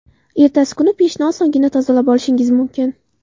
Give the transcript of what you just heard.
Ertasi kuni pechni osongina tozalab olishingiz mumkin.